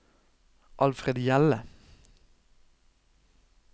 Alfred Hjelle